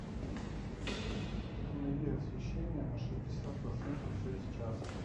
установи освещение на шестьдесят процентов через час